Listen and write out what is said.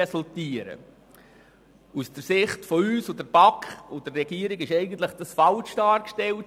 Aus unserer Sicht, der Sicht der BaK und der Regierung, ist dies eigentlich falsch dargestellt.